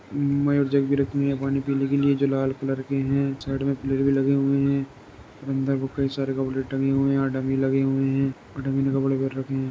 जग भी रखी हुई हैं पानी पीने के लिए जो लाल कलर के हैं। साइड मे पिलर भी लगे हुए हैं। अंदर को कई सारे कपड़े टंगे हुए हैं। यहाँ डमी लगे हुए हैं और डमी ने कपड़े पेहेर रखे हैं।